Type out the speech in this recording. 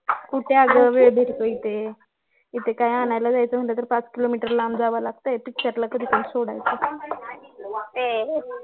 कुठे आगं वेळ भेटतोय इथे इथे काही आणायला जायचं म्हणलं तर पाच किलोमीटर लांब जायला लागतंय picture ला कधी पण सोडायच